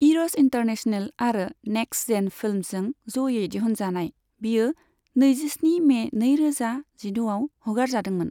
इर'स international आरो next gen फिल्मसजों ज'यै दिहुनजानाय, बियो नैजिस्नि मे नैरोजा जिद'आव हगारजादोंमोन।